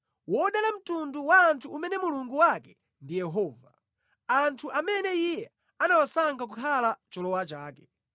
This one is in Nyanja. Wodala mtundu wa anthu umene Mulungu wake ndi Yehova, anthu amene Iye anawasankha kukhala cholowa chake.